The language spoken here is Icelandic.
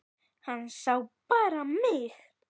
Hann sá bara mig!